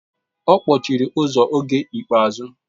Ọ kpọchiri ụzọ oge ikpeazụ.